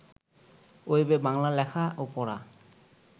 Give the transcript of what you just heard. ওয়েবে বাংলা লেখা ও পড়া